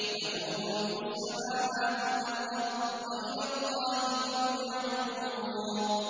لَّهُ مُلْكُ السَّمَاوَاتِ وَالْأَرْضِ ۚ وَإِلَى اللَّهِ تُرْجَعُ الْأُمُورُ